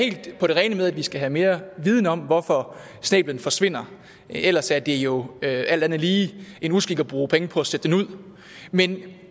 helt på det rene med at vi skal have mere viden om hvorfor snæblen forsvinder ellers er det jo alt andet lige en uskik at bruge penge på at sætte den ud men jeg